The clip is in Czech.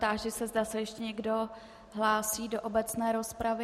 Táži se, zda se ještě někdo hlásí do obecné rozpravy.